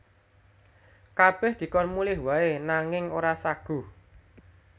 Kabèh dikon mulih waé nanging ora saguh